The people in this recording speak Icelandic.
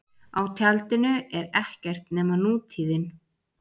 Á tjaldinu er ekkert nema nútíðin.